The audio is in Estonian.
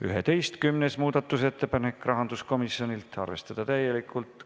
11. muudatusettepanek, rahanduskomisjonilt, arvestada täielikult.